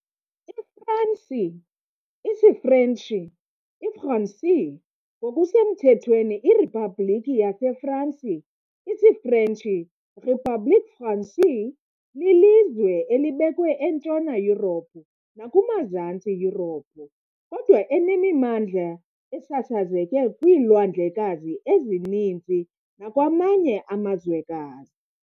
IFransi, isiFrentshi, "iFransi", ngokusemthethweni iRiphabhlikhi yaseFransi, isiFrentshi, "République française", lilizwe elibekwe eNtshona Yurophu nakumaZantsi Yurophu, kodwa enemimandla esasazeke kwiilwandlekazi ezininzi nakwamanye amazwekazi.